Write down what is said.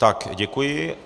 Tak děkuji.